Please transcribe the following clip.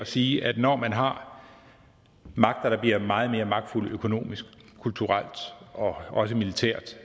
at sige at når man har magter der bliver meget mere magtfulde økonomisk kulturelt og også militært